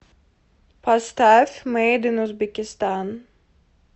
поставь мэйд ин узбекистан